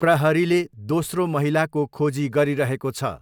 प्रहरीले दोस्रो महिलाको खोजी गरिरहेको छ।